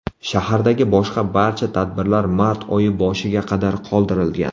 Shahardagi boshqa barcha tadbirlar mart oyi boshiga qadar qoldirilgan.